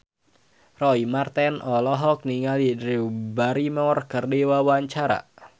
Roy Marten olohok ningali Drew Barrymore keur diwawancara